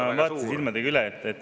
Jah, ma vaatasin silmadega üle.